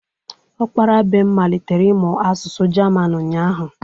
Ọkpara bee m malitere ịmụ asụsụ German ụnyahụ